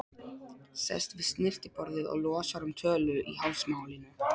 Sest við snyrtiborðið og losar um tölu í hálsmálinu.